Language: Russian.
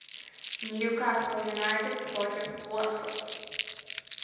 ньюкасл юнайтед против уотфорд